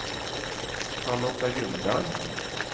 Charlotta Ljungberg